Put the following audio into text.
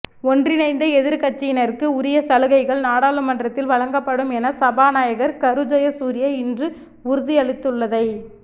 ஒன்றிணைந்த எதிர்க்கட்சியினருக்கு உரிய சலுகைகள் நாடாளுமன்றத்தில் வழங்கப்படும் என சபாநாயகர் கரு ஜயசூரிய இன்று உறுதியளித்துள்ளதைத்